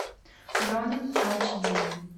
ронин ач ди